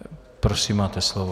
Prosím, máte slovo.